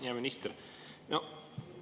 Hea minister!